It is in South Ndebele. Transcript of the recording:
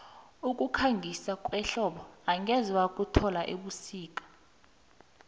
ukukhangisa kwehlobo angeze wakuthola ebusika